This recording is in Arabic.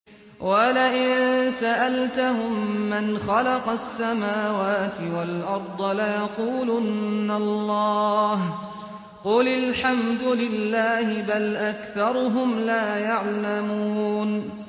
وَلَئِن سَأَلْتَهُم مَّنْ خَلَقَ السَّمَاوَاتِ وَالْأَرْضَ لَيَقُولُنَّ اللَّهُ ۚ قُلِ الْحَمْدُ لِلَّهِ ۚ بَلْ أَكْثَرُهُمْ لَا يَعْلَمُونَ